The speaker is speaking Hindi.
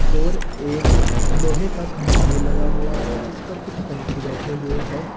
और एक लोहे का खंभा भी लगा हुआ है जिस पर कुछ पंछी बैठे हुए है।